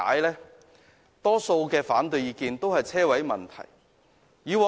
大多數的反對意見，都與泊車位問題有關。